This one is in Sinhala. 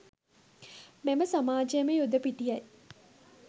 මෙම සමාජමය යුද පිටියයි.